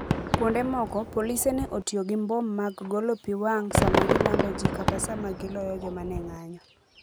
Kuonde moko, polise ne otiyo gi mbom mag golo pi wang sama gilando ji kata sama giloyo joma ne ng'anjo